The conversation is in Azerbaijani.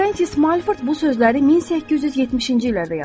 Frensiz Malford bu sözləri 1870-ci illərdə yazmışdı.